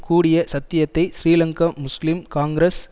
கூடிய சத்தியத்தை ஸ்ரீலங்கா முஸ்லிம் காங்கிரஸ்